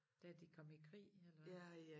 Da de kom i krig eller hvad